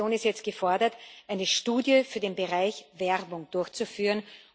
Die Kommission ist jetzt gefordert, eine Studie für den Bereich Werbung durchzuführen.